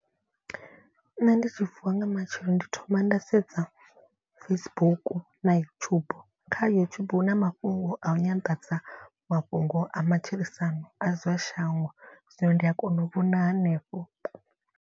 Nṋe ndi tshi vuwa nga matsheloni ndi thoma nda sedza Facebook na YouTube. Kha YouTube hu na mafhungo a u nyanḓadza mafhungo a matshilisano a zwa shango zwino ndi a kona u vhona hanefho.